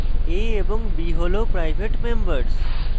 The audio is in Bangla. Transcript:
a এবং b হল private members